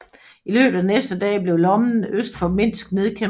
I løbet af de næste dage blev lommen øst for Minsk nedkæmpet